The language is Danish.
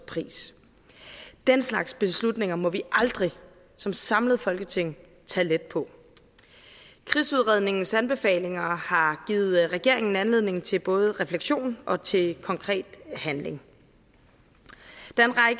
pris den slags beslutninger må vi aldrig som samlet folketing tage let på krigsudredningens anbefalinger har givet regeringen anledning til både refleksion og til konkret handling der